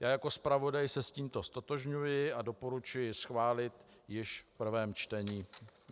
Já jako zpravodaj se s tímto ztotožňuji a doporučuji schválit již v prvém čtení.